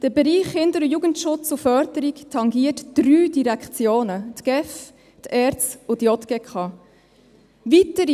– Der Bereich Kinder- und Jugendschutz und -förderung tangiert drei Direktionen: die GEF, die ERZ und die JGK.